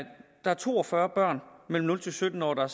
der er to og fyrre børn mellem nul sytten år der